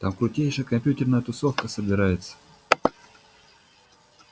там крутейшая компьютерная тусовка собирается